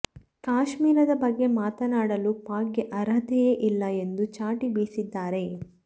ಕಾಶ್ಮೀರದ ಬಗ್ಗೆ ಮಾತನಾಡಲು ಪಾಕ್ಗೆ ಅರ್ಹತೆಯೇ ಇಲ್ಲ ಎಂದು ಚಾಟಿ ಬೀಸಿದ್ದಾರೆ